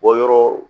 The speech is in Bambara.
Bɔyɔrɔ